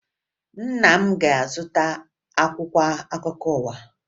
Nna m ga-azụta akwụkwọ akụkọ ụwa